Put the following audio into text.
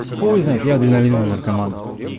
хуй знает я адреналиновый наркоман